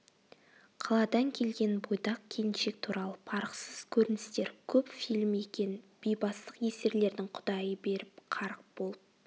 қаладан келген бойдақ келіншек туралы парықсыз көріністер көп фильм екен бейбастақ есерлердің құдайы беріп қарық болып